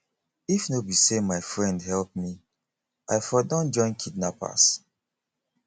if no be say my friend help me i for don join kidnappers